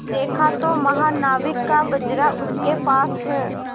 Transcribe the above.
देखा तो महानाविक का बजरा उसके पास है